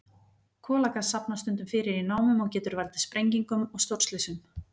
Kolagas safnast stundum fyrir í námum og getur valdið sprengingum og stórslysum.